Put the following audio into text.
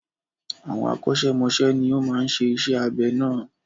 Àwọn akọ́ṣẹ́mọsẹ́ ni ó máa ń ṣe iṣẹ́ abẹ náà.